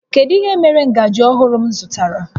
Kedu ihe mere ngaji ọhụrụ m zụtara?